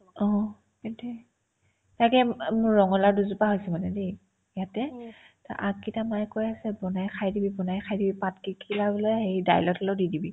অ, সেইটোয়ে তাকে উম উম মোৰ ৰঙা লাও দুজোপা আছে মানে দেই ইয়াতে তাৰ আগ কেইটা মই কৈ আছো বনাই খাই দিবি বনাই খাই দিবি পাতকেইট কিবা বোলে হেৰি দাইলত হ'লেও দি দিবি